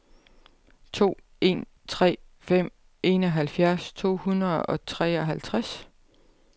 to en tre fem enoghalvfjerds to hundrede og treoghalvtreds